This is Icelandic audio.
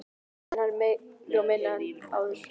En er hann meiri eða minni en áður?